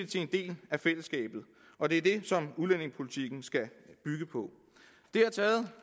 til en del af fællesskabet og det er det som udlændingepolitikken skal bygge på det har taget